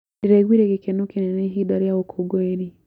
Ndĩraiguire gĩkeno kĩnene ihinda rĩa ũkũngũĩri.